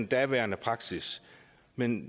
daværende praksis men